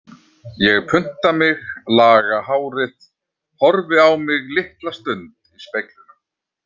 Ég punta mig, laga hárið, horfi á mig litla stund í speglinum.